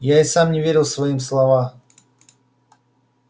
я и сам не верил своим слова